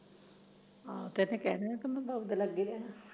ਹਾਂ ਕਹਿੰਦਾ ਮੈਨੂੰ ਤਾਂ ਭੁਖ ਲਗੀ ਐ